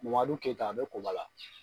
Madu keyita a be koba la